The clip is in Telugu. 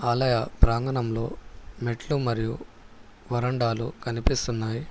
ఆలయ ప్రాంగణంలో మెట్లు మరియు వరండాలు కనిపిస్తున్నాయి.